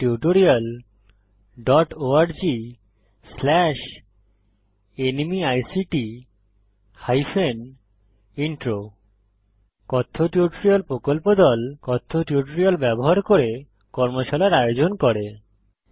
কথ্য টিউটোরিয়াল প্রকল্প দল কথ্য টিউটোরিয়াল ব্যবহার করে কর্মশালার আয়োজন করে